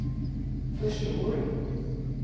förstår